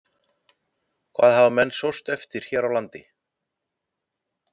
Hvað hafa menn sóst eftir hér á landi?